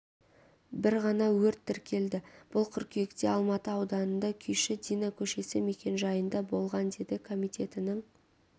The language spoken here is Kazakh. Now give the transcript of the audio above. бір ғана өрт тіркелді бұл қыркүйекте алматы ауданында күйші дина көшесі мекенжайында болған деді комитетінің